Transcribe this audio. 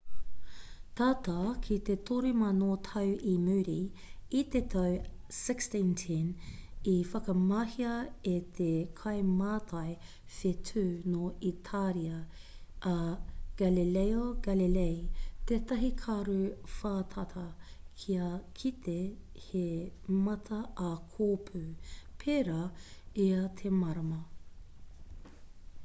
tata ki te toru mano tau i muri i te tau 1610 i whakamahia e te kaimātai whetū nō itāria a galileo galilei tētahi karu whātata kia kite he mata ā kōpū pērā i ā te marama